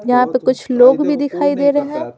यहां पे कुछ लोग भी दिखाई दे रहे हैं ।